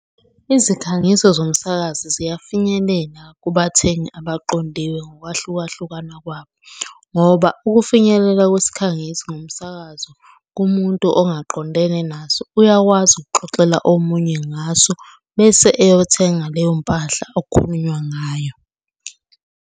Izikhangiso zomsakazi ziyafinyelela kubathengi abaqondiwe ngokwahlukahlukana kwabo, ngoba ukufinyelela kwesikhangiso ngomsakazo kumuntu ongaqondene naso uyakwazi ukuxoxela omunye ngaso bese eyothenga leyo mpahla okukhulunywa ngayo.